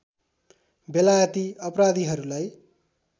बेलायती अपराधीहरूलाई